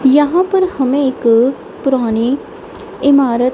यहां पर हमें एक पुरानी इमारत--